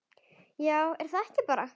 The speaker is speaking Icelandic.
Já, er það ekki bara?